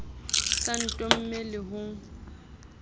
o sa ntome le ho